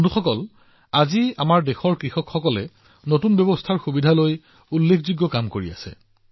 বন্ধুসকল আজি আমাৰ দেশৰ কৃষকসকলে বহুতো ক্ষেত্ৰত নতুন ব্যৱস্থাৰ সুযোগ লৈ বিস্ময়কৰ কাম কৰি আছে